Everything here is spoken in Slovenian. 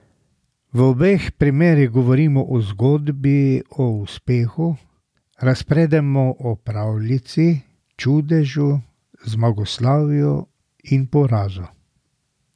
V obeh primerih govorimo o zgodbi o uspehu, razpredamo o pravljici, čudežu, zmagoslavju in porazu.